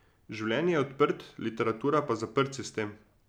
Življenje je odprt, literatura pa zaprt sistem.